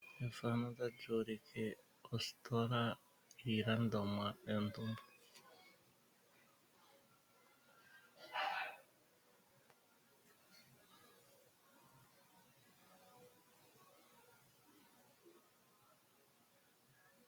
Efano otali ulike ositola yiilandomwa.